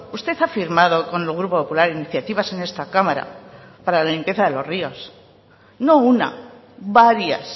usted ha firmado con el grupo popular iniciativas en esta cámara para la limpieza de los ríos no una varias